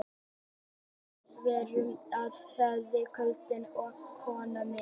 Við erum í sjónvarpinu á hverju kvöldi, ég og konan mín.